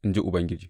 in ji Ubangiji.